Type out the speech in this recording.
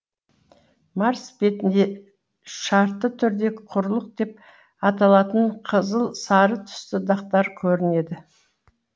марс бетінде шартты түрде құрлық деп аталатын қызыл сары түсті дақтар көрінеді